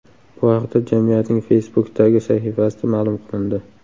Bu haqda jamiyatning Facebook’dagi sahifasida ma’lum qilindi .